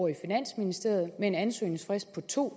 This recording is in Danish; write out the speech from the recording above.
i finansministeriet med en ansøgningsfrist på to